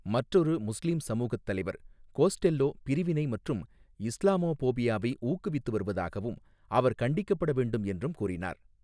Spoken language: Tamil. மற்றொரு முஸ்லீம் சமூகத் தலைவர் கோஸ்டெல்லோ பிரிவினை மற்றும் இஸ்லாமோபோபியாவை ஊக்குவித்து வருவதாகவும், அவர் கண்டிக்கப்பட வேண்டும் என்றும் கூறினார்.